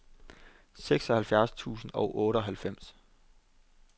seksoghalvfjerds tusind og otteoghalvfems